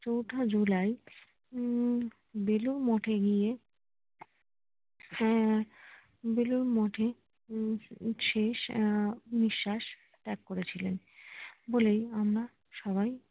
চৌঠা জুলাই উম বেলুড় মঠ এ গিয়ে হ্যাঁ বেলুড় মঠে হম শেষ নিঃশ্বাস ত্যাগ করেছিলেন বলেই আমরা সবাই